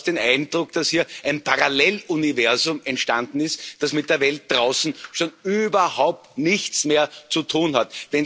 Man hat fast den Eindruck, dass hier ein Paralleluniversum entstanden ist, das mit der Welt draußen schon überhaupt nichts mehr zu tun hat.